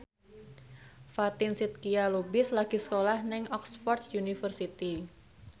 Fatin Shidqia Lubis lagi sekolah nang Oxford university